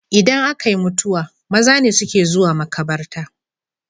Idan akayi mutuwa maza ne suke zuwa makabarta